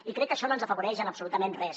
i crec que això no ens afavoreix en absolutament res